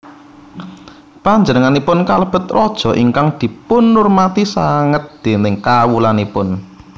Panjenenganipun kalebet raja ingkang dipunurmati sanget déning kawulanipun